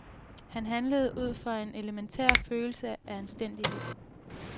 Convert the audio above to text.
Han handlede ud fra en elementær følelse af anstændighed.